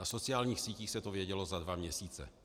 Na sociálních sítí se to vědělo na dva měsíce.